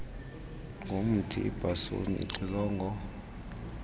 ngomthi ibhasuni ixilongo